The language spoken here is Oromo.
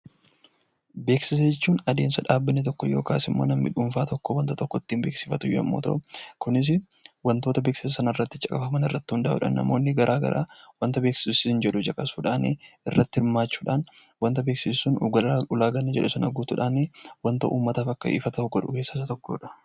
Beeksisa jechuun adeemsa dhaabbanni tokko yookiin namni dhuunfaa tokko waan tokko ittiin beeksifatu yoo ta'u, kunis wantoota beeksisa sana irratti caqafaman irratti hundaa'uudhaan, namoonni garaa garaa wanta beeksisi sun jedhu caqasuudhaan irratti hirmaachuudha. Ulaagaa beeksisni sun jedhu guutuudhaan uummataaf akka ifa ta'u godhuu keessaa isa tokkodha.